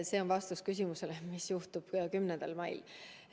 See on vastus küsimusele, mis juhtub 10. mail.